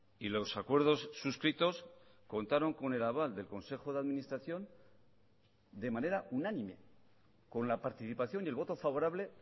y los acuerdos suscritos contaron con el aval del consejo de administración de manera unánime con la participación y el voto favorable